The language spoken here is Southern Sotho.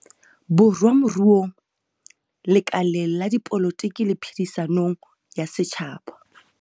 Borwa moruong, lekaleng la dipolotiki le phedi-sanong ya setjhaba.